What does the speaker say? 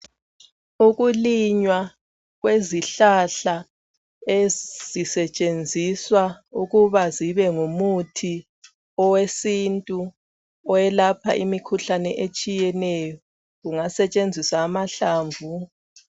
Ukulinywa kwezihlahla ezisetshenziswa ,ukuba zibe ngumuthi owesintu oyelapha imikhuhlane etshiyeneyo. kungasetshenziswa amahlamvu.